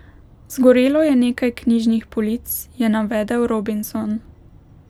Zgorelo je nekaj knjižnih polic, je navedel Robinson.